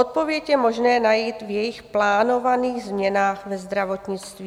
Odpověď je možné najít v jejich plánovaných změnách ve zdravotnictví.